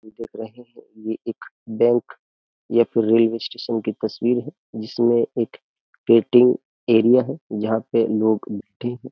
देख रहे हैं ये एक बैंक या फिर रेलवे स्टेशन की तस्वीर है जिसमें एक पेटिंग एरिया है जहाँ पे लोग बैठे हैं।